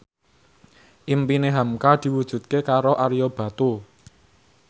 impine hamka diwujudke karo Ario Batu